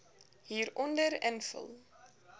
hieronder invul